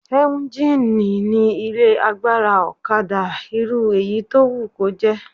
Éúnjínì ni ilé agbára ọ̀kadà irú èyí tó wù kó jẹ́